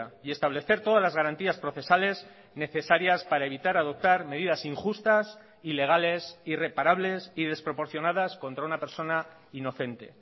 y establecer todas las garantías procesales necesarias para evitar adoptar medidas injustas ilegales irreparables y desproporcionadas contra una persona inocente